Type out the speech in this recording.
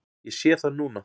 Ég sé það núna.